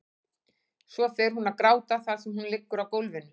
Svo fer hún að gráta þar sem hún liggur á gólfinu.